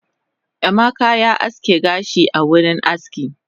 Emeka ya aske kanshi a wurin aski